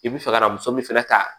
I bi fɛ ka muso min fɛnɛ ta